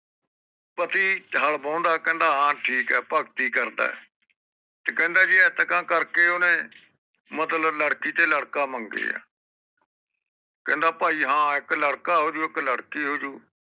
ਪਤੀ ਜਾਲ ਵਾਉਂਦਾ ਏ ਕਹਿੰਦਾ ਹਾਂ ਠੀਕ ਏ ਭਗਤੀ ਕਰਦਾ ਏ ਕਹਿੰਦਾ ਇੰਟਕਾ ਕਰਕੇ ਓਹਨੇ ਮਤਲਬ ਲੜਕੀ ਤੇ ਲੜਕਾ ਮੰਗੇ ਏ ਕਹਿੰਦਾ ਪਾਈ ਹਾਂ ਇਕ ਲੜਕਾ ਹੋਜੂ ਲੜਕੀ ਹੋਜੂ